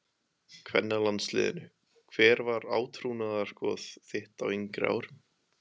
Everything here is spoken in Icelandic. kvennalandsliðinu Hver var átrúnaðargoð þitt á yngri árum?